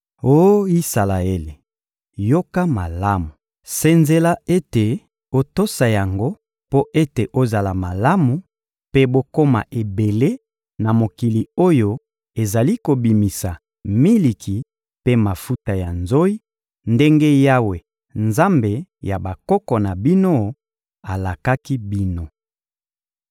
Oh Isalaele, yoka malamu! Senzela ete otosa yango mpo ete ozala malamu mpe bokoma ebele na mokili oyo ezali kobimisa miliki mpe mafuta ya nzoyi, ndenge Yawe Nzambe ya bakoko na bino alakaki bino.